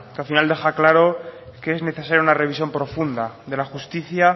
al final deja claro que es necesario una revisión profunda de la justicia